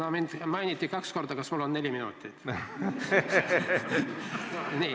Kuna mind mainiti kaks korda, siis kas mul on aega neli minutit?